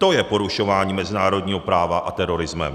To je porušováním mezinárodního práva a terorismem.